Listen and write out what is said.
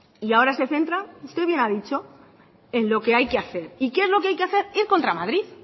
y ahora se centra usted bien ha dicho en lo que hay que hacer y qué es lo que hay que hacer ir contra madrid